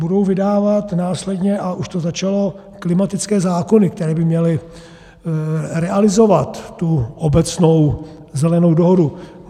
Budou vydávat následně, a už to začalo, klimatické zákony, které by měly realizovat tu obecnou Zelenou dohodu.